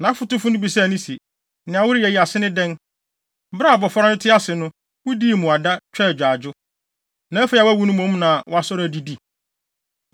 Nʼafotufo no bisaa no se, “Nea woreyɛ yi, ase ne dɛn? Bere a abofra no te ase no, wudii mmuada, twaa agyaadwo. Na afei a wawu no mmom na woasɔre adidi!”